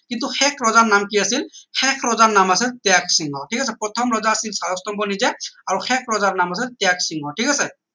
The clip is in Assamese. কিন্তু শেষ ৰজাৰ নাম কি আছিল শেষ ৰজাৰ নাম আছিল ত্যাগসিংহ ঠিক আছে প্ৰথম ৰজা আছিল শালস্তম্ভ নিজেই আৰু শেষ ৰজাৰ নাম আছিল ত্যাগসিংহ ঠিক আছে